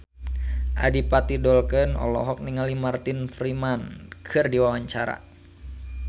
Adipati Dolken olohok ningali Martin Freeman keur diwawancara